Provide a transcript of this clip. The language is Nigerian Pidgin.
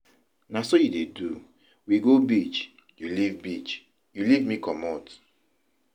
Na so you dey do, we go beach, you leave beach, you leave me comot.